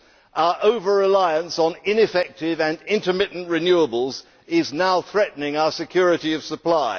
Our over reliance on ineffective and intermittent renewables is now threatening our security of supply.